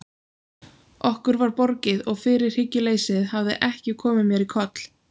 Okkur var borgið og fyrirhyggjuleysið hafði ekki komið mér í koll.